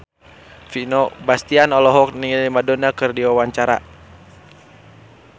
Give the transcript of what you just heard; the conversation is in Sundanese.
Vino Bastian olohok ningali Madonna keur diwawancara